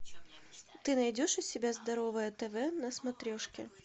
ты найдешь у себя здоровое тв на смотрешке